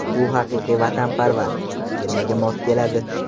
U haqiqiy vatanparvar, termaga mos keladi.